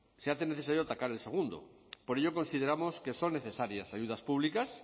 se hace necesario atacar el segundo por ello consideramos que son necesarias ayudas públicas